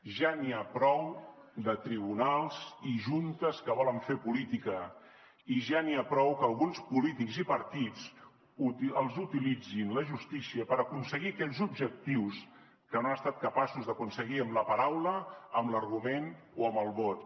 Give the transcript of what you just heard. ja n’hi ha prou de tribunals i juntes que volen fer política i ja n’hi ha prou que alguns polítics i partits utilitzin la justícia per aconseguir aquells objectius que no han estat capaços d’aconseguir amb la paraula amb l’argument o amb el vot